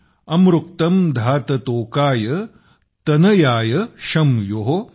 अमृक्तम् धात तोकाय तनयाय शं यो ।